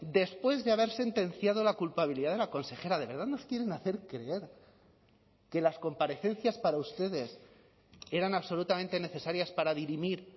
después de haber sentenciado la culpabilidad de la consejera de verdad nos quieren hacer creer que las comparecencias para ustedes eran absolutamente necesarias para dirimir